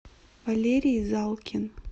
валерий залкин